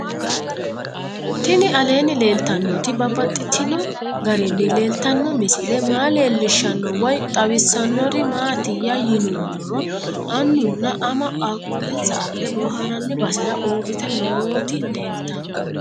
Tinni aleenni leelittannotti babaxxittinno garinni leelittanno misile maa leelishshanno woy xawisannori maattiya yinummoro annunna ama qaaquulensa adhe booharanni basera uuritte nootti leelittanno